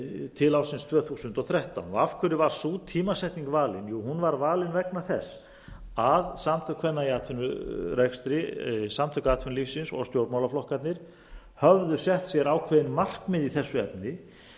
til ársins tvö þúsund og þrettán af hverju var sú tímasetning valin jú hún var valin vegna þess að samtök kvenna í atvinnurekstri samtök atvinnulífsins og stjórnmálaflokkarnir höfðu sett sér ákveðin markmið í þessu efni